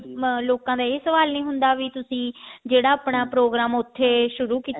ਅਮ ਲੋਕਾਂ ਦਾ ਇਹ ਸਵਾਲ ਨੀ ਹੁੰਦਾ ਵੀ ਤੁਸੀਂ ਜਿਹੜਾ ਆਪਣਾ ਪ੍ਰੋਗਰਾਮ ਉੱਥੇ ਸ਼ੁਰੂ ਕੀਤਾ